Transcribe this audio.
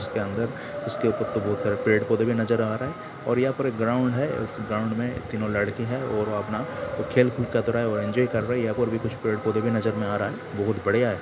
उसके अंदर उसके ऊपर तो बोहोत सारे पेड़ पौधे भी नजर आ रहा है और यहा पे एक ग्राउन्ड है| इस ग्राउन्ड मे तीनों लड़के है और अपना खेल कूद कतरा हुए इन्जॉय कर रहे है | यहाँ पर कुछ और पेड़ पौधे भी नजर मे आ रहा है| बोहोत बढ़िया है।